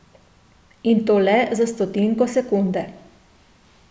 In to le za stotinko sekunde.